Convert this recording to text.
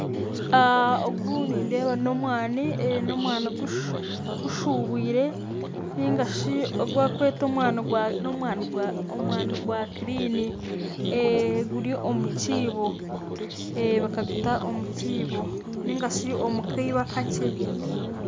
Ogu nindeeba n'omwani gushuubwire nari ogu barikweta omwani gwa kirini kandi baguuta omu kiibo nari shi omu kiibo akakye